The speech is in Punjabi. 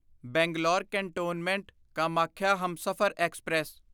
Bangalore cantonment Kamakhya Humsafar express